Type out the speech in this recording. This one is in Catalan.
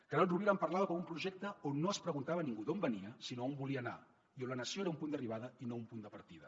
carod rovira en parlava com un projecte on no es preguntava a ningú d’on venia sinó on volia anar i on la nació era un punt d’arribada i no un punt de partida